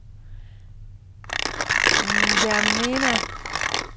Ndjamena